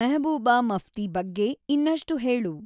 ಮೆಹಬೂಬ ಮಫ್ತಿ ಬಗ್ಗೆ ಇನ್ನಷ್ಟು ಹೇಳು